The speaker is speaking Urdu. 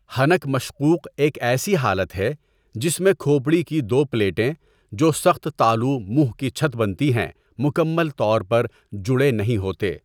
حنک مشقوق ایک ایسی حالت ہے جس میں کھوپڑی کی دو پلیٹیں جو سخت تالو منہ کی چھت بنتی ہیں مکمل طور پر جڑے نہیں ہوتے.